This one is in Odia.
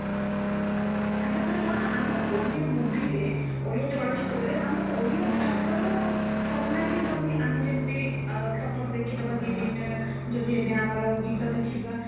ତାପରେ କଅଣ ଆମ ଓଡିଆ movieରେ ଓଡିଆ ଚଳଚିତ୍ରରେ ଓଡିଆ ଭାଷାର ସନମାନ ହିଁ ରାହୁନି ଆମେ ଯେମତି suppose ଦେଖିଦବା ଦି ତିନିଟା ଯଦି ଏବେ ଆମର ଗୀତା ଦେଖିବା